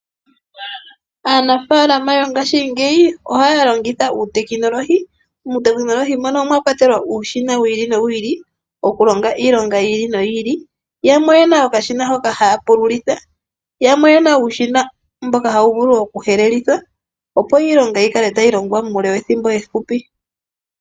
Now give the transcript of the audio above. Aanafaalama yongaashingeyi ohaya longitha uutekinolohi. Uutekinolohi omwakwatelwa uushina wi ili nowi ili okulonga iilonga yi ili noyi ili, yamwe oyena okashina hoka haya pululiltha, yamwe oyena uushina mboka hawu vulu okuhelela opo iilonga yikale tayi longwa muule wethimbo efupi.